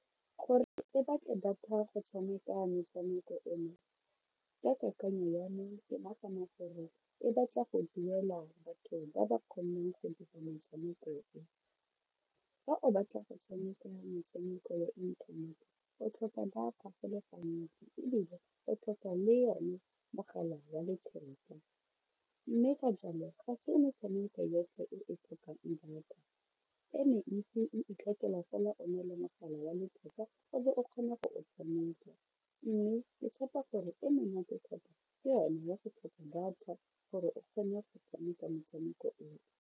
Gore e batle data go tshameka metshameko eno ka kakanyo ya me ke nagana gore e batla go duela batho ba ba kgonneng go dira motshameko o, fa o batla go tshameka metshameko ya inthanete o tlhoka data go le gantsi ebile o tlhoka le yone mogala wa letheka mme ka jalo ga fa o ne tshameka yotlhe e tlhokang data e mentsi e itlhokela fela o na le mogala wa letheka o be o kgona go o tshameka mme ke tshepa gore e monate thata ke yone ya go tlhoka data gore o kgone go tshameka motshameko oo.